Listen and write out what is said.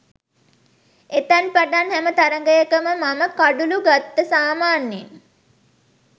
එතැන් පටන් හැම තරඟයකම මම කඩුලු ගත්ත සාමාන්‍යයෙන්